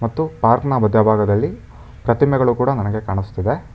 ಮತ್ತು ಪಾರ್ಕ್ ನ ಬದ್ಯಬಾಗದಲ್ಲಿ ಪ್ರತಿಮೆಗಳೂ ಕೂಡ ನನಗೆ ಕಾಣಸ್ತಿದೆ.